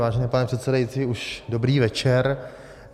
Vážený pane předsedající, už dobrý večer.